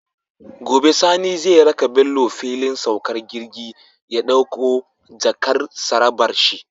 Gobe Sani zai raka Bello fillin saukar jirgi ya ɗakko jakar tsarabar shi